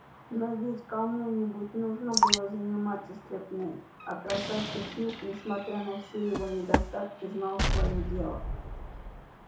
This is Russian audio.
но ведь кому нибудь нужно было заниматься стряпней а красавчик смит несмотря на все его недостатки знал своё дело